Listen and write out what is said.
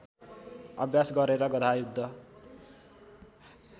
अभ्यास गरेर गधायुद्ध